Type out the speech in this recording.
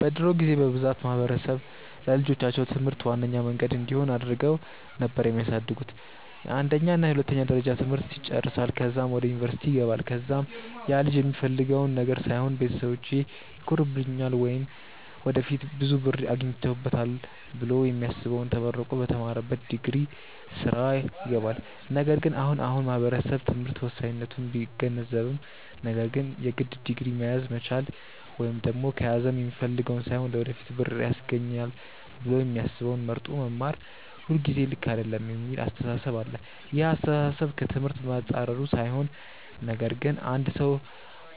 በድሮ ጊዜ በብዛት ማህበረሰብ ለልጆቻቸው ትምህርት ዋነኛ መንገድ እንዲሆን አድርገው ነበር የሚያሳድጉት፤ የአንደኛ እና የሁለተኛ ደረጃ ትምህርት ይጨረሳል ከዛም ወደ ዩኒቨርስቲ ይገባል ከዛም ያልጅ የሚፈልገውን ነገር ሳይሆን ቤተሰቢቼ ይኮሩብኛል ወይም ወደፊት ብዙ ብር አገኝበታለው ብሎ የሚያስበውን ተመርቆ በተማረበት ዲግሪ ስራ ይገባል። ነገር ግን አሁን አሁን ማህበረሰቡ ትምህርት ወሳኝነቱን ቢገነዘብም ነገር ግን የግድ ዲግሪ መያዝ መቻል ወይም ደግም ከያዘም የሚፈልገውን ሳይሆን ለወደፊት ብር ያስገኘኛል ብሎ የሚያስበውን መርጦ መማር ሁልጊዜ ልክ አይደለም የሚል አስተሳሰብ አለ። ይህ አስተሳሰብ ከ ትምህርት መፃረሩ ሳይሆን ነገር ግን አንድ ሰው